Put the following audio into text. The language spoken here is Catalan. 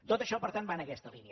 tot això per tant va en aquesta línia